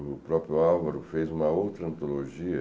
O próprio Álvaro fez uma outra antologia.